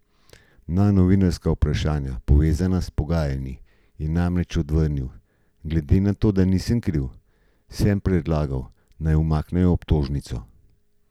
Na novinarska vprašanja, povezana s pogajanji, je namreč odvrnil: "Glede na to, da nisem kriv, sem predlagal, naj umaknejo obtožnico.